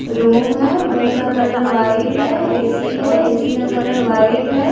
Room है room का colour white है। ए_सी है कलर व्हाइट है।